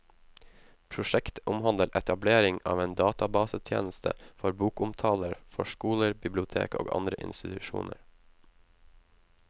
Prosjektet omhandler etablering av en databasetjeneste for bokomtaler for skoler, bibliotek og andre institusjoner.